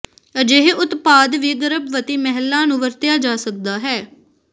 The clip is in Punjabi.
ਅਜਿਹੇ ਉਤਪਾਦ ਵੀ ਗਰਭਵਤੀ ਮਹਿਲਾ ਨੂੰ ਵਰਤਿਆ ਜਾ ਸਕਦਾ ਹੈ